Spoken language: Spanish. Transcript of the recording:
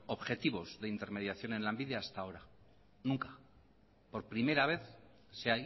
objetivos de intermediación en lanbide hasta ahora nunca por primera vez sí